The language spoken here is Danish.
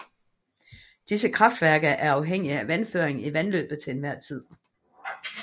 Disse kraftværker er afhængige af vandføringen i vandløbet til enhver tid